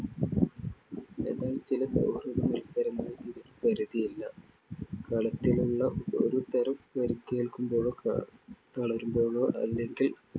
എന്നാൽ ചില സൗഹൃദ മൽസരങ്ങളിൽ ഇതിനു പരിധി ഇല്ല. കളത്തിലുള്ള ഒരു തരം പരിക്കേൽക്കുമ്പോഴോ തളരുമ്പോഴോ അല്ലെങ്കിൽ